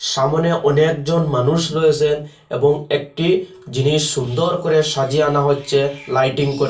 সামনে অনেকজন মানুষ রয়েসেন এবং একটি জিনিস সুন্দর করে সাজিয়ে আনা হচ্ছে লাইটিং করে।